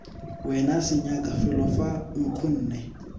wena senyaka felo fa nkgonne